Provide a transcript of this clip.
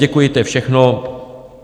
Děkuji, to je všechno.